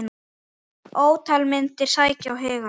Ótal myndir sækja á hugann.